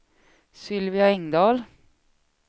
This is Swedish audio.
Sylvia Engdahl